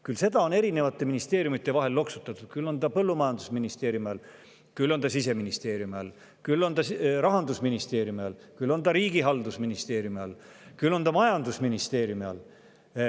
Küll seda on erinevate ministeeriumide vahel loksutatud, küll on ta olnud põllumajandusministeeriumi all, Siseministeeriumi all, Rahandusministeeriumis riigihalduse all, küll on ta majandusministeeriumi all.